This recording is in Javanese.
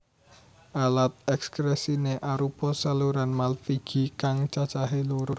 Alat ekskresiné arupa saluran malphigi kang cacahé loro